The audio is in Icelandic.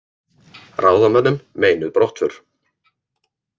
Ráðamönnum meinuð brottför